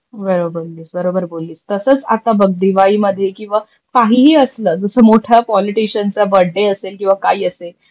हो बरोबर बोलली. तसच आता बग दिवाळीमध्ये किवा काहीही असल जस मोठ्या पोलिटिशनचा बडडे असेक किवा काही असेल,